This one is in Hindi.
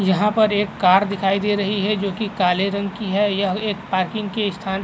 यहाँ पर एक कार दिखाई दे रही है जो कि काले रंग की है। यह एक पार्किंग की स्थान --